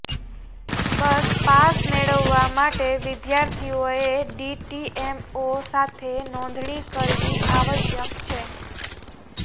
બસ pass મેળવવા માટે વિદ્યાર્થીઓએ ડીટીએમઓ સાથે નોંધણી કરવી આવશ્યક છે